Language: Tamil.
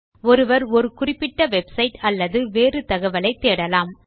ஒருவர் ஒரு குறிப்பிட்ட வெப்சைட் அல்லது வேறு தகவலை தேடலாம்